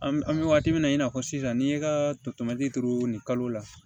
An bɛ wagati min na i n'a fɔ sisan n'i ye katɛmɛtiri turu nin kalo la